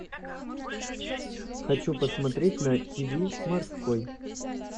хочу посмотреть на тиви морской